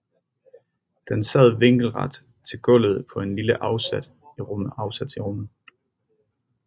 Den sad vinkelret til gulvet på en lille afsats i rummet